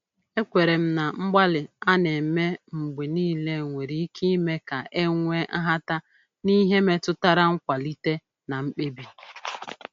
Ekwere m na mgbalị a na-eme mgbe niile nwere ike ime ka e nwee nhata n’ihe metụtara nkwalite na mkpebi.